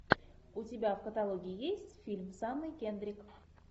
у тебя в каталоге есть фильм с анной кендрик